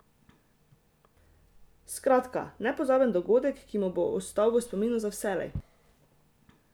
Skratka: "Nepozaben dogodek, ki mi bo ostal v spominu za vselej.